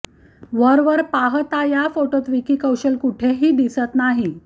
वरवर पाहता या फोटोत विकी कौशल कुठेही दिसत नाही